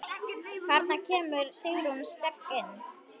Þarna kemur Sigrún sterk inn.